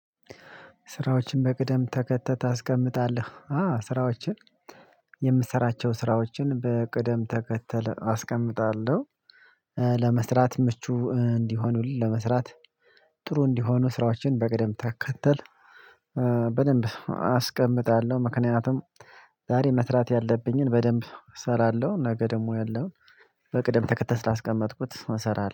ስራዎችን በቅደም ተከተል ታስቀምጣለህ አዎ ስራዎችን የምሰራቸውን ስራዎችን በቅደም ተከተል አስቀምጣለሁ። ለመስራት ምቹ እንዲሆኑ ለመስራት ጥሩ እንዲሆኑ ስራዎችን በቅደም ተከተል። ምክንያቱም ዛሬ መስራት ያለብኝን በደንብ እሰራለሁ ነገ ደግሞ ያለውን በቅደም ተከተል ስላስቀመጥኩት እሰራለሁ